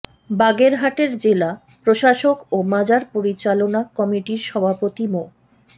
বাগেরহাটের জেলা প্রশাসক ও মাজার পরিচালনা কমিটির সভাপতি মো